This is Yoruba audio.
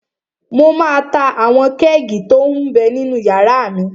Mo máa ta àwọn kẹ́ẹ̀gì tó m bẹ ninú yàrá mi